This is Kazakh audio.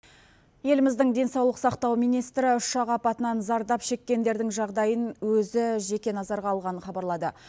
еліміздің денсаулық сақтау министрі ұшақ апатынан зардап шеккендердің жағдайын өзі жеке назарға алғанын хабарлады